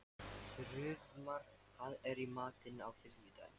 Þrúðmar, hvað er í matinn á þriðjudaginn?